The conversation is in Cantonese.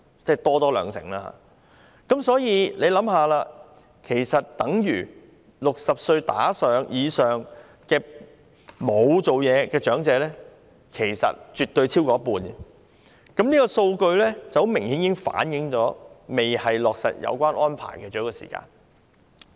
所以，試想一下，這等於年齡60歲以上沒有工作的長者絕對超過一半，這個數據明顯反映現時不是落實有關安排的最佳時間。